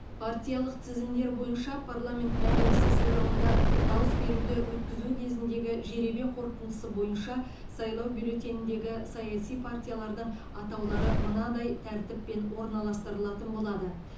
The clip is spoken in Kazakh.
партиялық тізімдер бойынша парламент мәжілісі сайлауында дауыс беруді өткізу кезіндегі жеребе қорытындысы бойынша сайлау бюллетеніндегі саяси партиялардың атаулары мынадай тәртіппен орналастырылатын болады